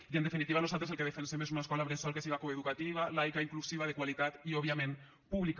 i en definitiva nosaltres el que defensem és una escola bressol que siga coeducativa laica inclusiva de qualitat i òbviament pública